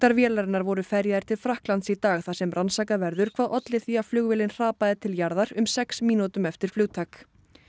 vélarinnar voru ferjaðir til Frakklands í dag þar sem rannsakað verður hvað olli því að flugvélin hrapaði til jarðar um sex mínútum eftir flugtak